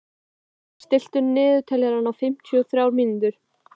Aron, stilltu niðurteljara á fimmtíu og þrjár mínútur.